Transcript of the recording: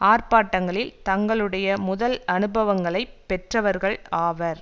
ஆர்ப்பாட்டங்களில் தங்களுடய முதல் அனுபவங்களை பெற்றவர்கள் ஆவர்